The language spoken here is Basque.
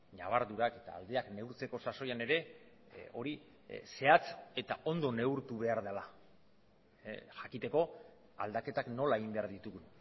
ñabardurak eta aldeak neurtzeko sasoian ere hori zehatz eta ondo neurtu behar dela jakiteko aldaketak nola egin behar ditugu